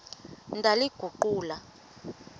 ndaliguqula